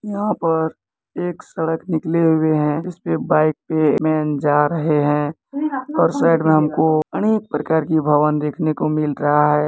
यहां पर एक सड़क निकले हुए हैं उसपे बाइक पे एक मैन जा रहे हैं और साइड में हमको अनेक प्रकार के भवन देखने को मिल रहा है।